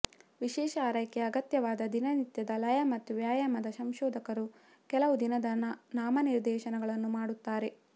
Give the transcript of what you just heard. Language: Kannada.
ವಿಶೇಷ ಆರೈಕೆ ಅಗತ್ಯವಾದಾಗ ದಿನನಿತ್ಯದ ಲಯ ಮತ್ತು ವ್ಯಾಯಾಮದ ಸಂಶೋಧಕರು ಕೆಲವು ದಿನದ ನಾಮನಿರ್ದೇಶನಗಳನ್ನು ಮಾಡುತ್ತಾರೆ